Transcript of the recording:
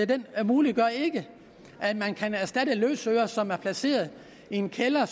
den muliggør ikke at man kan erstatte løsøre som er placeret i en kælder